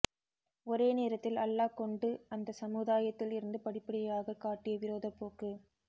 ஒரே நேரத்தில் அல்லாஹ் கொண்டு அந்த சமுதாயத்தில் இருந்து படிப்படியாக காட்டிய விரோதப் போக்கு